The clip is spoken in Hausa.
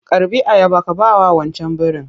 Karɓi ayaba ka bawa wancan birin!